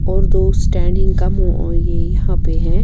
.اور دو سٹینڈنگ کا موہ ا یہ یحیٰ پی ہیں